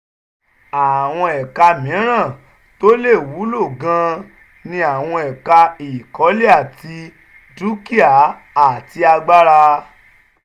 àwọn ẹka mìíràn tó lè wúlò gan-an ni àwọn ẹ̀ka ìkọ́lé ilé àti dúkìá àti agbára.